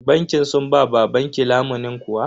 Bankin sun ba babanki lamunin kuwa?